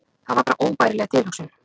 Það var bara óbærileg tilhugsun.